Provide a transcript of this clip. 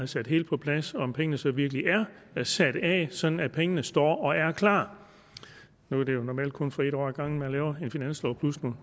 sat helt på plads om pengene så virkelig er sat af sådan at pengene står og er klar nu er det jo normalt kun for et år ad gangen man laver en finanslov plus nogle